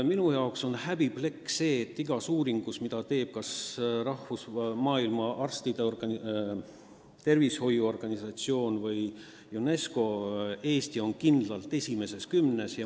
Minu jaoks on see häbiplekk, et igas sellekohases uuringus, mille on teinud kas Maailma Terviseorganisatsioon või UNESCO, on Eesti kindlalt esimeses kümnes.